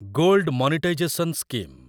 gold monetisation scheme